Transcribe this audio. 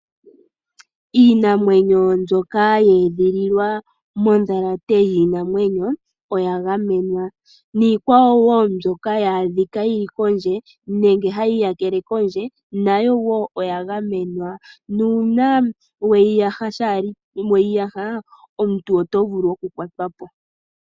Iinamwenyo mbyoka ye edhililwa modhalate yiinamwenyo oya gamenwa, niikwawo mbyoka uuna ya adhika yili kondje nenge hayi iyakele kondje nayowo oya gamenwa nuna weyi yaha omuntu oto vulu oku kwatwapo.